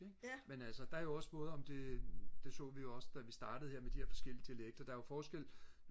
men altså der er jo også både om det det så vi jo også da vi startede her med de her forskellige dialekter der er jo forskel